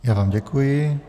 Já vám děkuji.